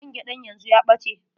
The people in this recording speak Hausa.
Man gyaɗan yanzu ya ɓace.